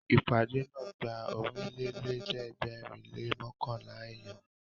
Ìpàdé náà gba Ọ̀rìnlélẹ̀ẹ́dẹ́gbèrin lé mọ́kànlá èèyàn